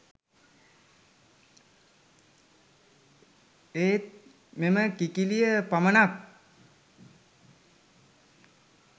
ඒත් මෙම කිකිළිය පමණක්